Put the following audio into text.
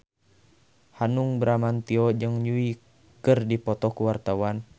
Hanung Bramantyo jeung Yui keur dipoto ku wartawan